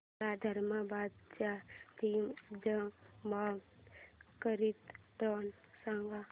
मला धर्माबाद ते निजामाबाद करीता ट्रेन सांगा